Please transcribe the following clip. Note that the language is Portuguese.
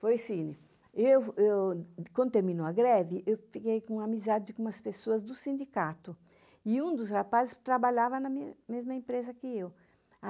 Foi assim, eu, quando terminou a greve, eu fiquei com uma amizade com umas pessoas do sindicato, e um dos rapazes trabalhava na mesma empresa que eu.